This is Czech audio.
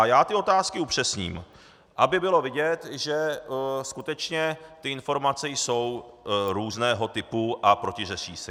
A já ty otázky upřesním, aby bylo vidět, že skutečně ty informace jsou různého typu a protiřečí si.